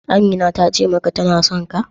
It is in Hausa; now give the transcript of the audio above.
Amina tace maka tana sonka?